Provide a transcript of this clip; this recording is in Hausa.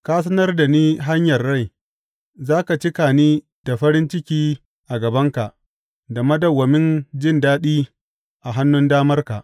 Ka sanar da ni hanyar rai; za ka cika ni da farin ciki a gabanka, da madawwamin jin daɗi a hannun damarka.